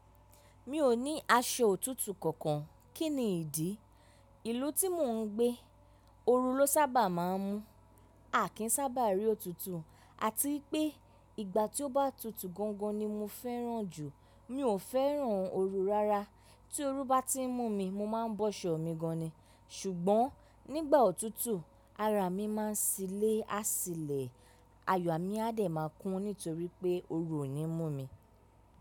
Mi ò ní aṣọ òtútù kankan, kí ni ìdí? Ìlú tí mò ń gbé, oru ló sábà máa ń mú. A kì í sábà rí òtútù. Àti pé ìgbà tí ó bá tutù gangan ni mo fẹ́ràn jù. Mi ò fẹ́ràn oru rárá. Tí oru bá ti ń mú mi, mo máa ń bọ́ṣọ̀ mi gan ni. Ṣùgbọ́n nígbà òtútù, ara mi máa ń ṣilé àsìlẹ̀, ayọ̀ mi a dẹ̀ máa kún nítorí pé oru ò ní mú mi.